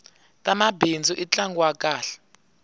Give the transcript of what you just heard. tamabindzu i ntlangu wa kahle